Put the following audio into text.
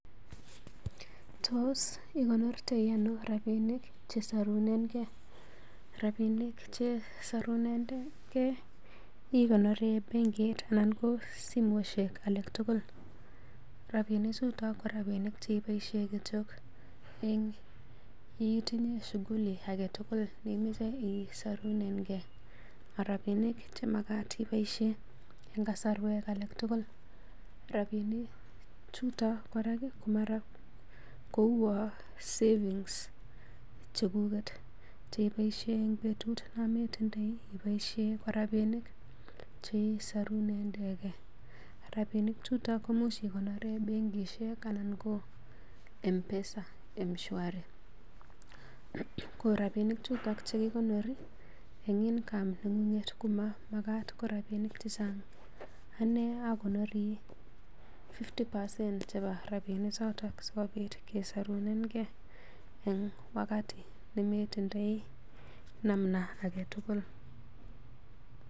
Tos igornotoi aino rabinik chesorunengei? Rabinik chesorunengei igonori en bengit anan ko simoishek alak tugul. Rabinichuto ko rabinik che iboisien kityo en itinye shughuli agetugul nemoche isorunenge marabinik che magat iboisien an kasorwek alak tugul. Rabinik chuto kora ko uwon savngs chekuget che iboisie en betut yon metindoi ko rabinik cheisorunengei. Rabinik chuton koimuch igonoren benkishek anan ko M-Pesa, M-shwari ko rabinik chuto che kigonori en income neng'ung'et komamagat koma rabinik che chang. Ane agonori fifty percent chebo rabinik choto sikobit kesorunenge en wakati nemetindoi namna agetugul.